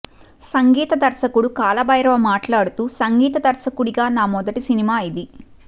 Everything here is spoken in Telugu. సంగీత దర్శకుడు కాలభైరవ మాట్లాడుతూ సంగీత దర్శకుడిగా నా మొదటి సినిమా ఇది